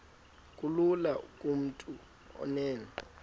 kulula kumntu onen